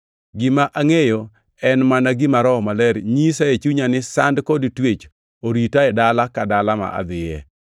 Gima angʼeyo en mana gima Roho Maler nyisa e chunya ni sand kod twech orita e dala ka dala ma adhiye.